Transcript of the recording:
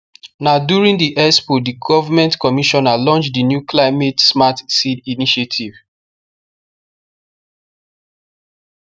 na during the expo the government commissioner launch the new climatesmart seed initiative